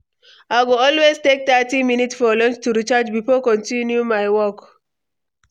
I go always take thirty minutes for lunch to recharge before continuing my work.